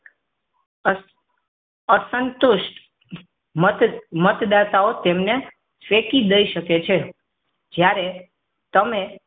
અસ અસંતુષ્ટ મત મતદાતાઓ તમને ફેંકી દઈ શકે છે જ્યારે તમે